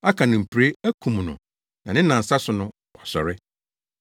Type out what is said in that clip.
aka no mpire, akum no na ne nnansa so no, wasɔre.”